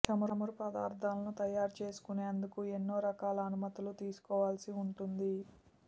చమురు పదార్థాలను తయారు చేసుకునేందుకు ఎన్నో రకాల అనుమతులు తీసుకోవాల్సి ఉంటుంది